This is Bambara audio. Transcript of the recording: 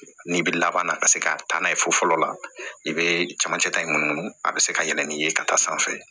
N'i bi laban na ka se ka taa n'a ye fo fɔlɔ la i be camancɛ ta in mun a be se ka yɛlɛ ni ye ka taa sanfɛ